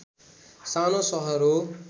सानो सहर हो